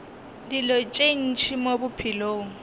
dilo tše ntši mo bophelong